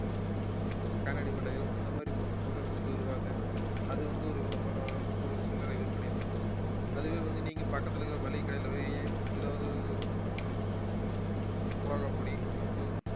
கண்ணாடி வளையல் அந்த மாதிரி பொருட்கள வித்துட்டு வருவாங்க அது வந்து ஒரு விதமான ஒரு சில்லறை விற்பனைதான் அதுவே வந்து நீங்க பக்கத்துல இருக்குற மளிகை கடையில போயி ஏதாவது மிளகாபொடி உப்பு